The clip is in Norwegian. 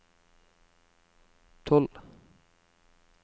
tolv